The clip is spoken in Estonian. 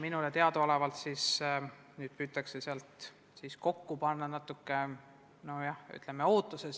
Minule teadaolevalt püütakse kokku panna ühisdokument.